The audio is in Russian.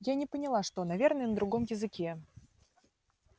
я не поняла что наверное на другом языке